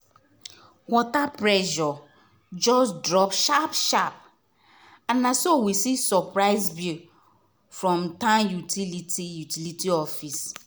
water pressure just drop sharp sharp and na so we see surprise bill from town utility utility office.